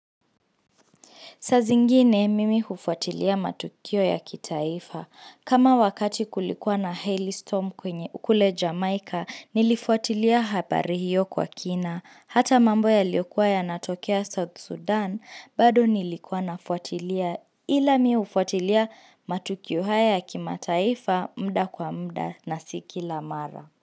Saa zingine mimi hufuatilia matukio ya kitaifa. Kama wakati kulikuwa na hail storm kwenye kule jamaika, nilifuatilia habari hiyo kwa kina. Hata mambo ya yaliokuwa yanatokea South Sudan, bado nilikuwa nafuatilia ila mimi hufuatilia matukio haya ya kimataifa muda kwa muda na si kila mara.